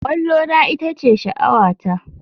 Kwallona ita ce sha'awata.